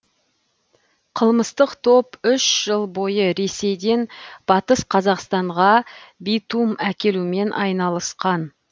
қылмыстық топ үш жыл бойы ресейден батыс қазақстанға битум әкелумен айналысқан